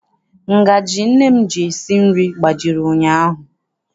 Ngajị nne m ji esi nri gbajiri ụnyaahụ.